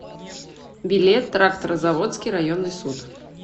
билет тракторозаводский районный суд